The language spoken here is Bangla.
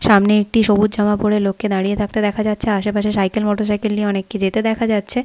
সামনে একটি সবুজ জামা পরে লোককে দাঁড়িয়ে থাকতে দেখা যাচ্ছে আশেপাশে সাইকেল মোটর সাইকেল নিয়ে অনেককে যেতে দেখা যাচ্ছে।